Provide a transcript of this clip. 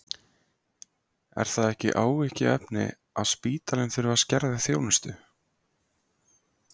Er það ekki áhyggjuefni að spítalinn þurfi að skerða þjónustu?